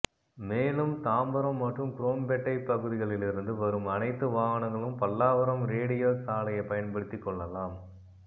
மேலும் தாம்பரம் மற்றும் குரோம்பேட்டை பகுதிகளிலிருந்து வரும் அனைத்து வாகனங்களும் பல்லாவரம் ரேடியல் சாலையை பயன்படுத்தி க்கொள்ளலாம்